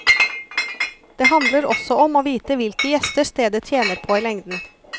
Det handler også om å vite hvilke gjester stedet tjener på i lengden.